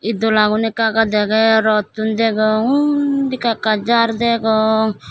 ed dola gun ekka ekka dege rottun degong undi ekka ekka jhar degong.